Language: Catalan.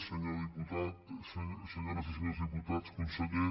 senyor diputat senyores i senyors diputats conseller